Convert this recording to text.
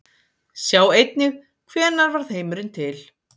Sjá einnig Hvenær varð heimurinn til?